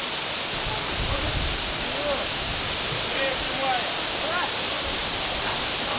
снимая